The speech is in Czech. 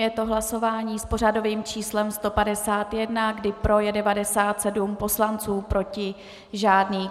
Je to hlasování s pořadovým číslem 58, kdy pro je 97 poslanců , proti žádný.